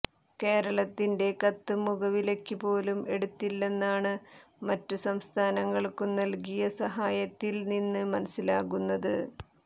കേരളത്തിന്റെ കത്ത് മുഖവിലയ്ക്ക് പോലും എടുത്തില്ലെന്നാണ് മറ്റുസംസ്ഥാനങ്ങൾക്കു നൽകിയ സഹായത്തിൽ നിന്ന് മനസിലാകുന്നത്